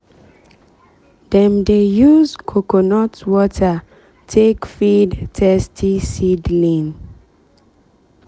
dem dey use coconut water take feed thirsty seedling.